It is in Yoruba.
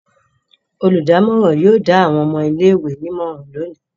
Olùdámọ̀ràn yóò dá àwọn ọmọ ilé-ìwé nímọ̀ràn lónìí.